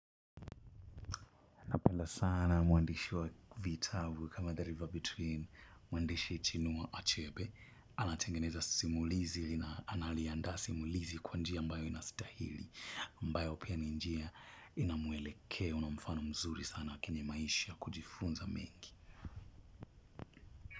Penda sana mwandishi wa vitabu kama the river between, mwandishi chinua achebe, anatengeneza simulizi na analiandaa simulizi kwa njia ambayo inastahili, ambayo pia ni njia inamwelekeo na mfano mzuri sana kenye maisha ya kujifunza mengi.